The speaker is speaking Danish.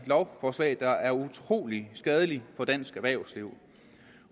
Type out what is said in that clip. lovforslag der er utrolig skadeligt for dansk erhvervsliv